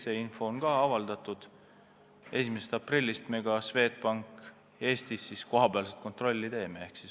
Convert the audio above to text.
See info on ka avaldatud, et alates 1. aprillist me teeme Eestis Swedbanki üle kohapealset kontrolli.